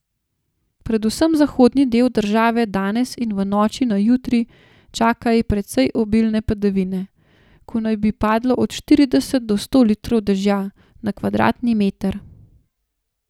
Predvsem zahodni del države danes in v noči na jutri čakaj precej obilne padavine, ko naj bi padlo od štirideset do sto litrov dežja na kvadratni meter.